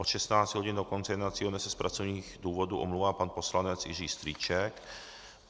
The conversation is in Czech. Od 16 hodin do konce jednacího dne se z pracovních důvodů omlouvá pan poslanec Jiří Strýček.